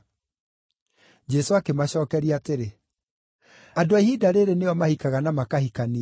Jesũ akĩmacookeria atĩrĩ, “Andũ a ihinda rĩĩrĩ nĩo mahikaga na makahikania.